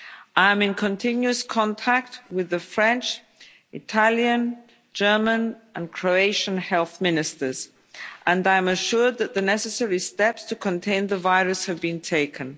I am in continuous contact with the French, Italian, German and Croatian health ministers, and I am assured that the necessary steps to contain the virus have been taken.